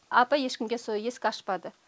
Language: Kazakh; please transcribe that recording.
апа ешкімге со есік ашпады